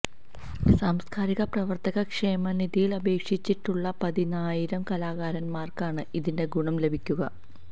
സാംസ്കാരിക പ്രവര്ത്തക ക്ഷേമനിധിയില് അപേക്ഷിച്ചിട്ടുള്ള പതിനായിരം കലാകാരന്മാര്ക്കാണ് ഇതിന്റെ ഗുണം ലഭിക്കുക